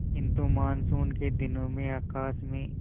किंतु मानसून के दिनों में आकाश में